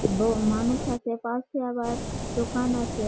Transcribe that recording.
দু মানুষ আছে পাশে আবার দোকান আছে।